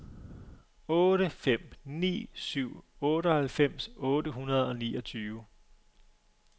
otte fem ni syv otteoghalvfems otte hundrede og niogtyve